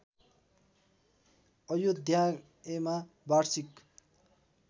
अयोध्यायमा वार्षिक